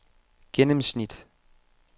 gennemsnit